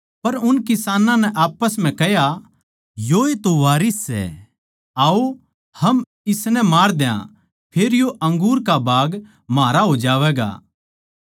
पर उन किसानां नै आप्पस म्ह कह्या योए तो वारिस सै आओ हम इसनै मार द्या फेर यो अंगूर का बाग म्हारा हो जावैगा